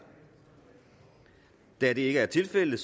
da det ikke er tilfældet